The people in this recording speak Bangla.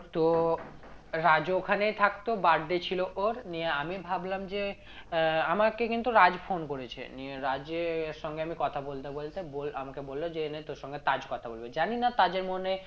তো রাজ্ও ওখানেই থাকতো birthday ছিল ওর নিয়ে আমি ভাবলাম যে আহ আমাকে কিন্তু রাজ phone করেছে নিয়ে রাজের সঙ্গে আমি কথা বলতে বলতে বল আমাকে বললো যে এ নে তোর সঙ্গে তাজ কথা বলবে জানিনা তাজের মনে